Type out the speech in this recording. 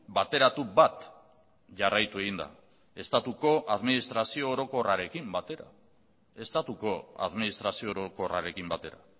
bateratu bat jarraitu egin da estatuko administrazio orokorrarekin batera estatuko administrazio orokorrarekin batera